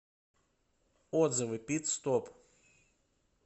отзывы пит стоп